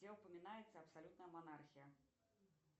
где упоминается абсолютная монархия